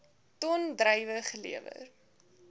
ton druiwe gelewer